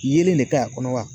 Yeelen de ka ɲi a kɔnɔ wa